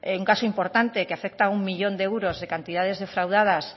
un caso importante que afecta a uno millón de euros de cantidades defraudadas